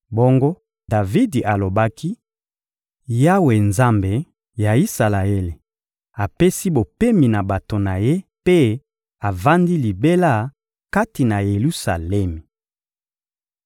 Bongo Davidi alobaki: «Yawe, Nzambe ya Isalaele, apesi bopemi na bato na Ye mpe avandi libela kati na Yelusalemi.